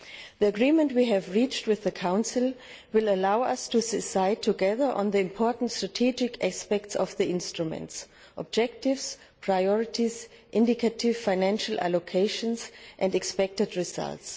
The agreement we have reached with the Council will allow us to decide together on the important strategic aspects of the instruments objectives, priorities, indicative financial allocations and expected results.